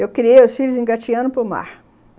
Eu criei os filhos engatinhando para o mar.